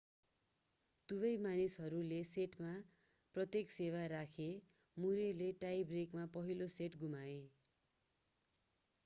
दुवै मानिसहरूले सेटमा प्रत्येक सेवा राखेर मुरेले टाई ब्रेकमा पहिलो सेट गुमाए